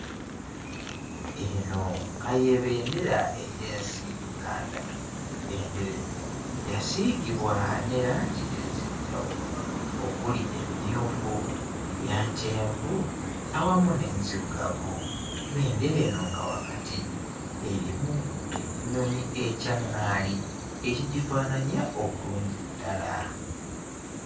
Eno nga ye bendera ey'ensi Uganda, bendera eno yasiigobwa ne langi ez'enjawulo, okuli emmyufu, eya kyenvu awamu n'enzirugavu. Bendera eno nga wakati erimu ekinyonyi ekya nngaali ekigifaananya obulungi ddala.